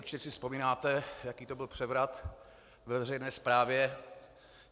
Určitě si vzpomínáte, jaký to byl převrat ve veřejné správě.